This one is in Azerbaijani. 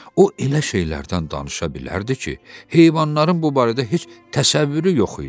O elə şeylərdən danışa bilərdi ki, heyvanların bu barədə heç təsəvvürü yox idi.